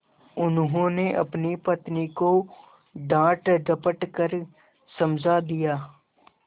उन्होंने अपनी पत्नी को डाँटडपट कर समझा दिया